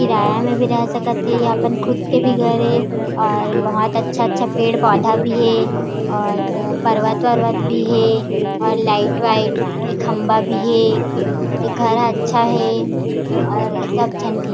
किराया में भी रह सकत थे और अपन खुद के भी घर हे और बहुत अच्छा-अच्छा पेड़-पौधा भी हे और पर्वत-उर्वत हे और लाइट वाइट के खम्भा भी हे ए घर अच्छा हे और सब झन ठीक